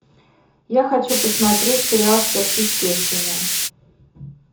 я хочу посмотреть сериал сверхъестественное